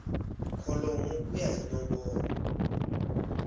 kholomo ku ya hi nomboro